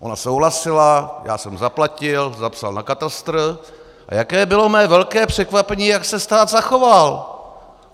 Ona souhlasila, já jsem zaplatil, zapsal na katastr - a jaké bylo mé velké překvapení, jak se stát zachoval.